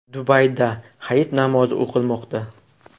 Dubayda Hayit namozi o‘qilmoqda.